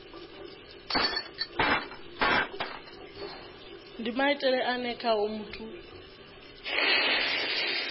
ndi maitele ane khao muthu